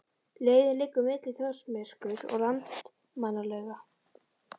Leiðin liggur milli Þórsmerkur og Landmannalauga.